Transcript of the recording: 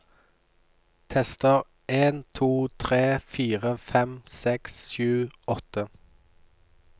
Tester en to tre fire fem seks sju åtte